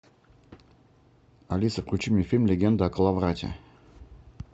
алиса включи мне фильм легенда о коловрате